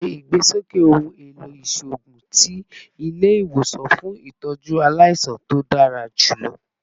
Ṣe igbesoke ohun elo iṣoogun ti ile-iwosan fun itọju alaisan to dara julọ